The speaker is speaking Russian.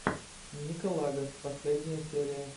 нико лагос последняя серия